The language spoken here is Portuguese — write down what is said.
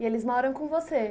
E eles moram com você?